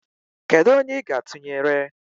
kedụ onye ị ga-atụnyere?